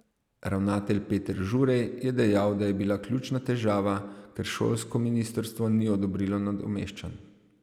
Ravnatelj Peter Žurej je dejal, da je bila ključna težava, ker šolsko ministrstvo ni odobrilo nadomeščanj.